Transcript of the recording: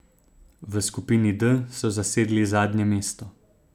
V skupini D so zasedli zadnje mesto.